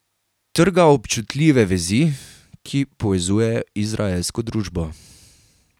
Trga občutljive vezi, ki povezujejo izraelsko družbo.